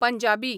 Punjabi